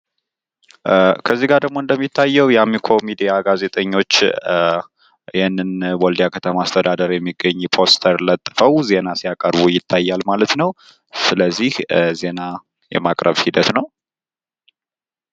ከዚህጋ ደግሞ እንደሚታየው የአሚኮ ሚዲያ ጋዜጠኞች ያንን በወልዲያ ከተማ አስተዳደር የሚገኝ ፖስተር ለጥፈው ዜና ሲያቀርቡ ይታያል ማለት ነው። ስለዚህ ዜና የማቅረብ ሂደት ነው።